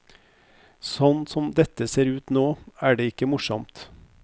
Sånn som dette ser ut nå, er det ikke morsomt.